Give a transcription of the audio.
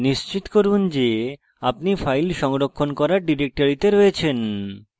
নিশ্চিত করুন যে আপনি file সংরক্ষণ করার ডিরেক্টরিতে রয়েছেন